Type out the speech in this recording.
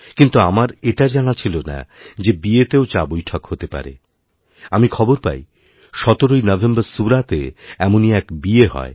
কিন্তু আমার এটা জানা ছিল না যেবিয়েতেও চাবৈঠক হতে পারে আমি খবর পাই সতেরোই নভেম্বর সুরাতে এমনই এক বিয়ে হয়